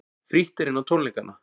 Frítt er inn á tónleikana